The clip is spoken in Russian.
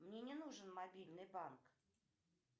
мне не нужен мобильный банк